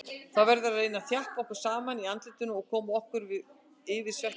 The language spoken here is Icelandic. Við verðum að reyna að þjappa okkur saman í andlitinu og koma okkur yfir svekkelsið.